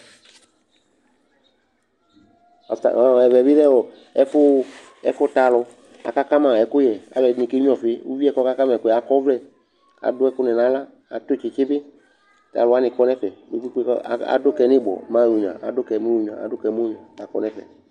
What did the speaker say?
Ɔta ɔ ɛvɛ bɩ lɛ ɔ ɛfʋ ɛkʋta alʋ kʋ akaka ma ɛkʋyɛ, alʋɛdɩnɩ kenyuǝ ɔfɩ Uvi yɛ kʋ ɔkaka ma ɛkʋ yɛ akɔ ɔvlɛ kʋ adʋ ɛkʋnɩ nʋ aɣla, atʋ tsɩtsɩ bɩ kʋ alʋ wanɩ kɔ nʋ ɛfɛ kpe-kpe-kpe kʋ a adʋ ka yɛ nʋ ɩbɔ, mɛ ayɔnyuǝ Adʋ ka yɛ mɛ ayɔnyuǝ, adʋ ka yɛ mɛ ayɔnyuǝ kʋ akɔ nʋ ɛfɛ